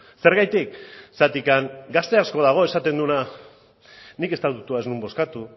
zergatik zergatik gazte asko dago esaten duena nik estatutua ez nuen bozkatu